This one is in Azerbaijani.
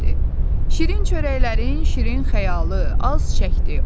Şirin çörəklərin şirin xəyalı az çəkdi.